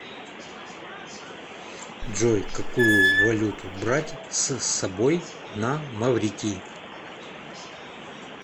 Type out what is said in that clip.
джой какую валюту брать с собой на маврикий